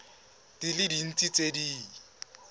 di le dintsi tse di